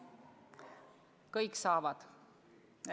Kõik saavad!